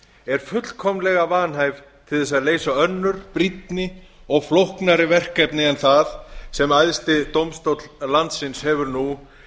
er fullkomlega vanhæf til þess að leysa önnur brýnni og flóknari verkefni en það sem æðsti dómstóll landsins hefur nú